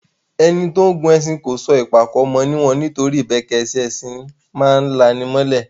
Ẹni tó ń gun ẹṣin kó sọ ìpàkọ́ mọ níwọ̀n, nitoripe ìbẹ́kẹ́sẹ́ ẹṣin a máa lani mọ́lẹ̀.